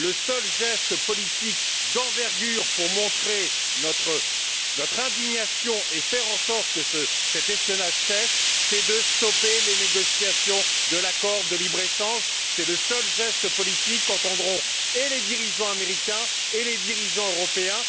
Le seul geste politique d'envergure pour montrer notre indignation et faire en sorte que cet espionnage cesse, c'est de stopper les négociations sur l'accord de libre échange. C'est le seul geste politique qu'entendront et les dirigeants américains et les dirigeants européens.